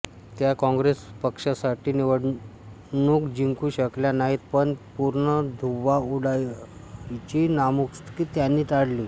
त्या काँग्रेस पक्षासाठी निवडणूक जिंकू शकल्या नाहीत पण पूर्ण धुव्वा उडायची नामुष्की त्यांनी टाळली